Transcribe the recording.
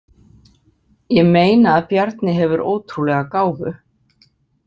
Ég meina að Bjarni hefur ótrúlega gáfu.